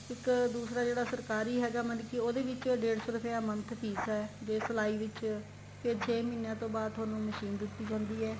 ਇੱਕ ਦੂਸਰਾ ਜਿਹੜਾ ਸਰਕਾਰੀ ਹੈਗਾ ਮਤਲਬ ਕੀ ਉਹਦੇ ਵਿੱਚ ਡੇਡ ਸੋ ਰੁਪਏ month fess ਏ ਜ਼ੇ ਸਿਲਾਈ ਵਿੱਚ ਫ਼ੇਰ ਛੇ ਮਹੀਨਿਆਂ ਤੋਂ ਬਾਅਦ ਤੁਹਾਨੂੰ machine ਦਿੱਤੀ ਜਾਂਦੀ ਏ